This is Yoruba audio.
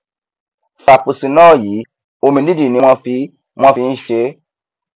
frapuccinno yìí omidídì ni wọn fi wọn fi nṣe é